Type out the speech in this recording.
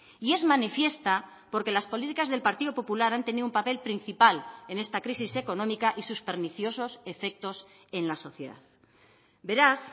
y es manifiesta porque las políticas del partido popular han tenido un papel principal en esta crisis económica y sus perniciosos efectos en la sociedad beraz